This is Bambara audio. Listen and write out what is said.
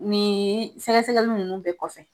Nin sɛgɛsɛgɛli nunnu bɛɛ kɔfɛ.